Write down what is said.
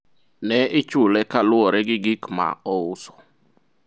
ne ichule kaluwore gi gik ma ouso